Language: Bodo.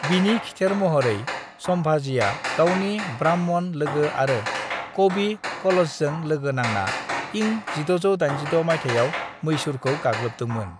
"बिनि खिथेर महरै, संभाजीया गावनि ब्राह्मण लोगो आरो कवि कलशजों लोगो नांना इं 1686 माइथायाव मैसूरखौ गाग्लोबदोंमोन।"